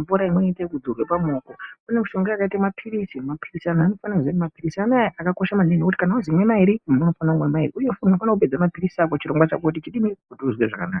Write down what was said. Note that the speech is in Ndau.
mvura inoite kudote pamaoko pane mishonga yakaite mapiritsi antu anofanire kuziya kuti mapiritsi akakoshe manhingi kuti kana wazomwe mayiri unofanha kumwe mayiri uye kana uchifanha kupedza chirongwa chako kuti unzwe zvakanaka